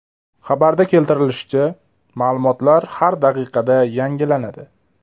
Xabarda keltirilishicha, ma’lumotlar har daqiqada yangilanadi.